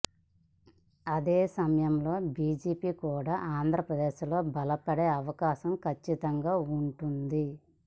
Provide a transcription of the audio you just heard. అదే సమయంలో బిజెపి కూడా ఆంధ్రప్రదేశ్లో బలపడే అవకాశం కచ్చితంగా ఉంటుంది